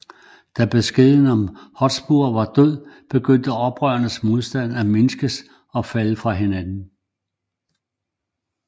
Da beskeden om at Hotspur var død begyndte oprørernes modstand at mindskes og falde fra hinanden